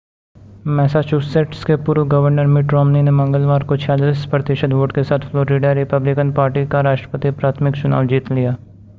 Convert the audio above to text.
Massachusetts के पूर्व governor Mitt Romney ने मंगलवार को 46 प्रतिशत वोट के साथ फ्लोरिडा रिपब्लिकन पार्टी का राष्ट्रपति प्राथमिक चुनाव जीत लिया